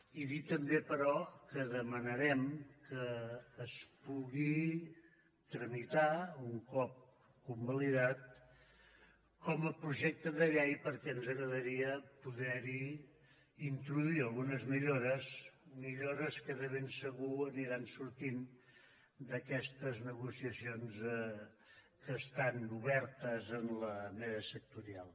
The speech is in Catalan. i dir també però que demanarem que es pugui tramitar un cop convalidat com a projecte de llei perquè ens agradaria poder hi introduir algunes millores millores que de ben segur aniran sortint d’aquestes negociacions que estan obertes en la mesa sectorial